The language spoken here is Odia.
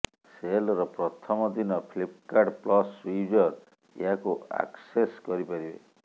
ସେଲର ପ୍ରଥମ ଦିନ ଫ୍ଲିପକାର୍ଟ ପ୍ଲସ୍ ୟୁଜର ଏହାକୁ ଆକସେସ୍ କରିପାରିବେ